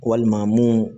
Walima mun